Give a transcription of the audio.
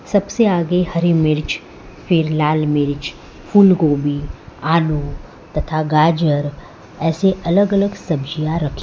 सबसे आगे हरि मिर्च फिर लाल मिर्च फूल गोबी आलू तथा गाजर ऐसे अलग अलग सब्जियां रखी--